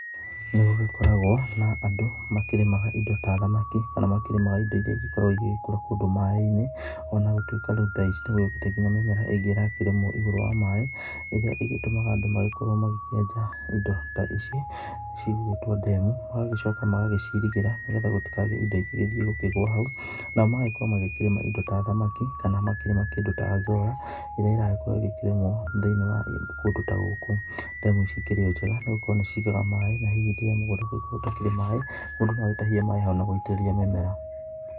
Nĩgũgĩkoragwo na andũ makĩrĩmaga indo ta thamaki, kana makĩrĩmaga indo iria igĩkoragwo ĩgĩgĩkũra kũndũ ta maĩ-inĩ. Onagũtuĩka rĩu tha ici nĩgũgĩũkĩte nginya mĩmera ingĩ ĩrakĩrĩmwo igũrũ wa maĩ. Ĩrĩa ĩgĩtũmaga andũ magĩkorwo magĩkĩenja indo ta ici, cigũgĩtwo ndemu. Magagĩcoka magacirigĩra, nĩgetha gũtikagĩe indo ingĩgĩthie kũgũa hau. Nao magagĩkorwo makĩrĩma indo ta thamaki, kana makĩrĩma kĩndũ ta Azolla, ĩrĩa ĩragĩkorwo ĩgĩkĩrĩmwo thĩ-inĩ wa kũndũ ta gũkũ. Ndemu ici ikĩrĩ o njega, nĩgũkorwo nĩcigaga maĩ na hihi rĩrĩa mũgũnda kũngĩkorwo gũtakĩrĩ maĩ, mũndũ noagĩtahie maĩ ho na gũitĩrĩria mĩmera.